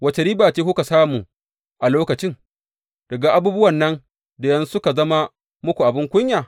Wace riba ce kuka samu a lokacin, daga abubuwan nan da yanzu suka zama muku abin kunya?